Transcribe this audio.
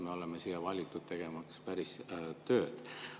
Me oleme siia valitud, tegemaks päris tööd.